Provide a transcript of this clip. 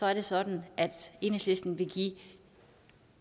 er det sådan at enhedslisten vil give